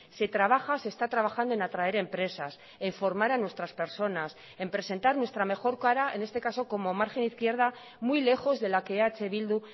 se trabaja se está trabajando en atraerempresas en formar a nuestras personas en presentar nuestra mejor cara en este caso como margen izquierda muy lejos de la que eh bildu